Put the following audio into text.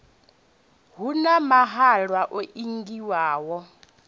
hu na mahalwa o ingiwaho